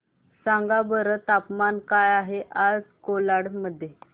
सांगा बरं तापमान काय आहे आज कोलाड मध्ये